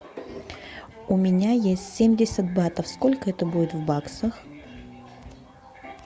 у меня есть семьдесят батов сколько это будет в баксах